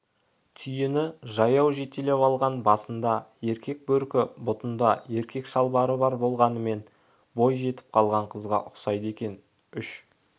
түйені жаяу жетелеп алған басында еркек бөркі бұтында еркек шалбары болғанымен бой жетіп қалған қызға ұқсайды екен үш